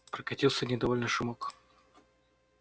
прокатился недовольный шумок